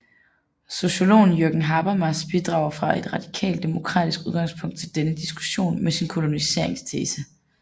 Sociologen Jürgen Habermas bidrager fra et radikalt demokratisk udgangspunkt til denne diskussion med sin koloniseringstese